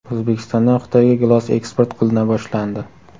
O‘zbekistondan Xitoyga gilos eksport qilina boshlandi.